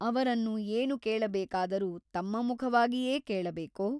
ಅವರನ್ನು ಏನು ಕೇಳಬೇಕಾದರೂ ತಮ್ಮ ಮುಖವಾಗಿಯೇ ಕೇಳಬೇಕೋ?